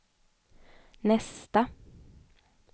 nästa